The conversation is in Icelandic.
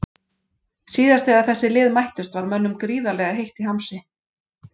Síðast þegar þessi lið mættust var mönnum gríðarlega heitt í hamsi.